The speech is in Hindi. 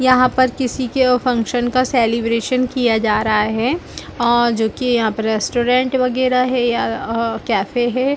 यहाँ पर किसी के अव फ़न्क्सन का सेलिब्रेसन किया जा रहा है आओ जोकि यहाँ पर रेस्टूरेन्ट वैगरह है यार अव कैफे हैं ।